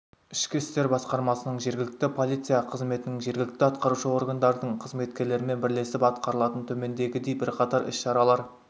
ішкі істер басқармасының жергілікті полиция қызметінің жергілікті атқарушы органдардың қызметкерлерімен бірлесіп атқарылатын төмендегідей бірқатар іс-шаралар